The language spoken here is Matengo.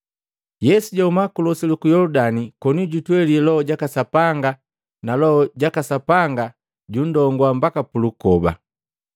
Yesu jahuma ku losi luku Yoludani koni jutweli Loho jaka Sapanga na Loho jaka Sapanga jundongua mbaka pulukoba.